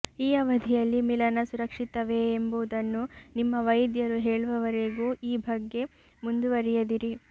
ಈ ಅವಧಿಯಲ್ಲಿ ಮಿಲನ ಸುರಕ್ಷಿತವೇ ಎಂಬುದನ್ನು ನಿಮ್ಮ ವೈದ್ಯರು ಹೇಳುವವರೆಗೂ ಈ ಬಗ್ಗೆ ಮುಂದುವರೆಯದಿರಿ